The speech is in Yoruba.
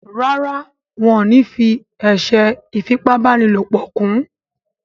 Ràrá wón ní fí eṣe ifi ipá báni lọpọ kún.